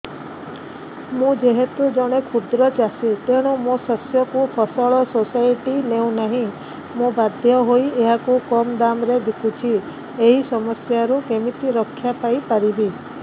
ମୁଁ ଯେହେତୁ ଜଣେ କ୍ଷୁଦ୍ର ଚାଷୀ ତେଣୁ ମୋ ଶସ୍ୟକୁ ଫସଲ ସୋସାଇଟି ନେଉ ନାହିଁ ମୁ ବାଧ୍ୟ ହୋଇ ଏହାକୁ କମ୍ ଦାମ୍ ରେ ବିକୁଛି ଏହି ସମସ୍ୟାରୁ କେମିତି ରକ୍ଷାପାଇ ପାରିବି